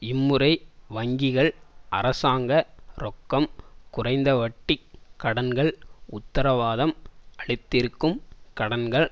இம்முறை வங்கிகள் அரசாங்க ரொக்கம் குறைந்தவட்டிக் கடன்கள் உத்தரவாதம் அளித்திருக்கும் கடன்கள்